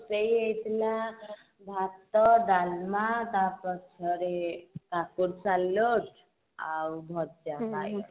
ସେଇ ହେଇ ଥିଲା ଭାତ ଡାଲମା ତା ପଛରେ କାକୁଡି ସାଲୋଡ ଆଉ ଭଜା ବାଇଗଣ